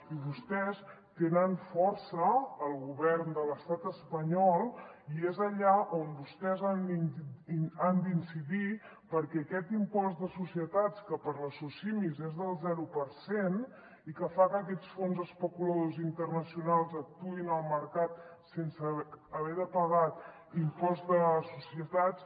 i vostès tenen força al govern de l’estat espanyol i és allà on vostès han d’incidir perquè aquest impost de societats que per a les socimis és del zero per cent i que fa que aquests fons especuladors internacionals actuïn al mercat sense haver de pagar l’impost de societats